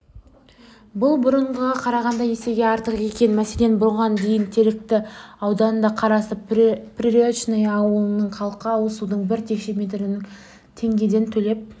бұл бұрынғыға қарағанда есеге артық екен мәселен бұған дейін теректі ауданына қарасты приречное ауылының халқы ауызсудың бір текше метріне теңгеден төлеп